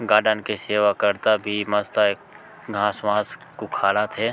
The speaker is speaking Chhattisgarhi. गार्डन के सेवाकर्ता भी मस्त हे घास-वास उखाड़त हे।